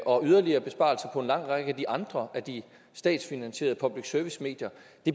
og yderligere besparelser på en lang række af de andre statsfinansierede public service medier